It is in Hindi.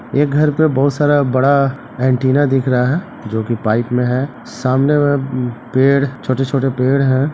ये घर पे बहुत सारा बड़ा एन्टीना दिख रहा है जो की पाइप में है सामने में पेड़ छोटे-छोटे पेड़ हैं ।